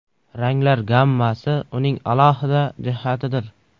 Ranglar gammasi uning alohida jihatidir.